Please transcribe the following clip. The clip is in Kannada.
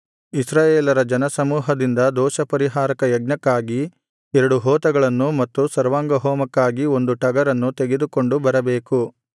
ಇಸ್ರಾಯೇಲರ ಜನಸಮೂಹದಿಂದ ದೋಷಪರಿಹಾರಕ ಯಜ್ಞಕ್ಕಾಗಿ ಎರಡು ಹೋತಗಳನ್ನು ಮತ್ತು ಸರ್ವಾಂಗಹೋಮಕ್ಕಾಗಿ ಒಂದು ಟಗರನ್ನು ತೆಗೆದುಕೊಂಡು ಬರಬೇಕು